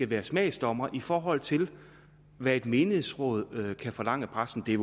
være smagsdommer i forhold til hvad et menighedsråd kan forlange af præsten det er